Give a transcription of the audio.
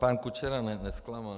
Pan Kučera nezklamal.